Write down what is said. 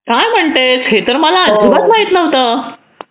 काय म्हणतेस हे तर मला अजिबात माहीत नव्हतं